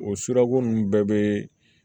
O sirako ninnu bɛɛ bɛ